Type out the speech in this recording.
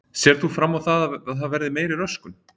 Sérð þú fram á það að það verði meiri röskun?